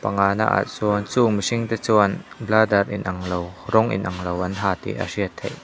ah sawn chung mirhing te chuan bladder in anglo rawng in anglo an ha tih a hriat theih--